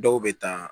Dɔw bɛ taa